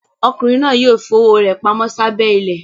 Ọkùnrin náà yóò fi owó rẹ̀ pamọ́ sábẹ́ ilẹ̀.